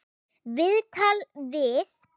Viðtal við